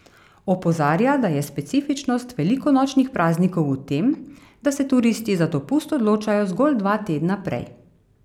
Opozarja, da je specifičnost velikonočnih praznikov v tem, da se turisti za dopust odločajo zgolj dva tedna prej.